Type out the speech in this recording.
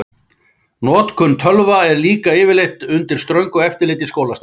Notkun tölva er líka yfirleitt undir ströngu eftirliti í skólastarfi.